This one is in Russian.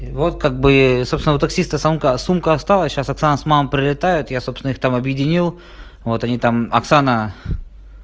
вот как бы собственного таксиста сумка сумка осталась сейчас оксана с мамой прилетают я собственно их там объединил вот они там оксана